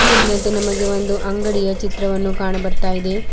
ಮೇಲಿನಂತೆ ನಮಗೆ ಒಂದು ಅಂಗಡಿಯ ಚಿತ್ರವನ್ನು ಕಾಣ ಬರ್ತಾ ಇದೆ.